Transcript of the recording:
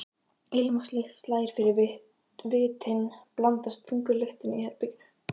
Ilmvatnslykt slær fyrir vitin, blandast þungri lyktinni í herberginu.